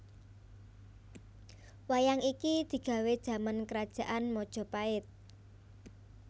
Wayang iki digawè jaman krajaan Majapait